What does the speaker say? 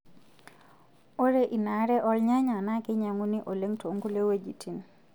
Ore inaare oo rnyanya naa keinyiang'uni oleng tookulie wuejitin.